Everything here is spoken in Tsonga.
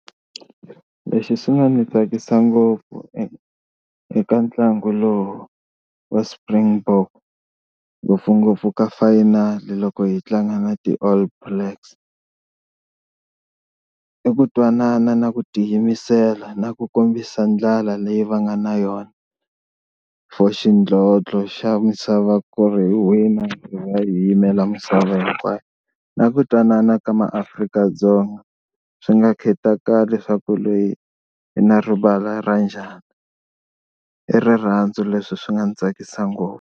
Lexi xi nga ni tsakisa ngopfu eka ntlangu lowu wa Springbok ngopfungopfu ka final loko hi tlanga na ti-all blacks i ku twanana na ku tiyimisela na ku kombisa ndlala leyi va nga na yona for xidlodlo xa misava ku ri hi wina hi va hi yimela misava hinkwayo. Na ku twanana ka MaAfrika-Dzonga swi nga khataleki leswaku loyi i na rivala ra njhani i rirhandzu leswi swi nga ni tsakisa ngopfu.